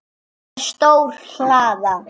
Það er stór hlaða.